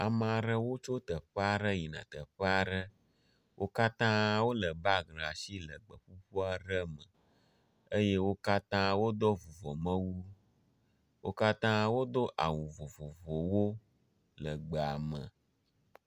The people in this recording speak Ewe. Ame aɖewo tso teƒe aɖe yina teƒe aɖe. Wo katã wolé bagi ɖe asi le gbeƒuƒu aɖe me eye wo katã wodo vuvɔmewu. Wo katã wodo awu vovovowo le gbea me.